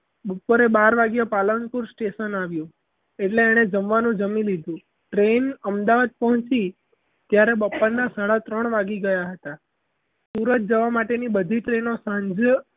બપોરે બાર વાગ્યે પાલનપુર station આવ્યું એટલે એણે જમવાનું જમી લીધું. train અમદાવાદ પહોંચી ત્યારે બપોરના સાડા ત્રણ વાગી ગયા હતા. સુરત જવાની બધી train ઓ સાંજે